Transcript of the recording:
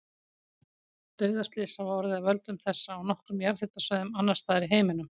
Dauðaslys hafa orðið af völdum þessa á nokkrum jarðhitasvæðum annars staðar í heiminum.